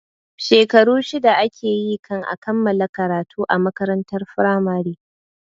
Shekaru shida ake yi kan a kammala karatu a makarantar firamare